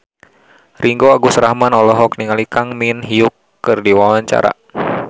Ringgo Agus Rahman olohok ningali Kang Min Hyuk keur diwawancara